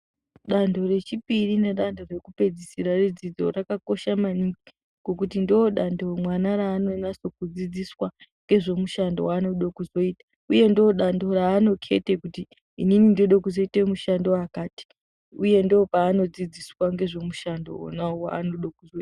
Danto rechipiri nedanto rekupedzisira redzidzo rakakosha maningi ngokuti ndodanto mwana raanonyase kudzidziswa ngezvemushando waanode kuzoita, uye ndodanto raanokete kuti inini ndode kuzoite mushando wakati uye ndopaanodzidziswa ngezvemushando wona waanode kuzoita.